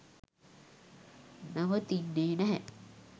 නවතින්නේ නැහැ.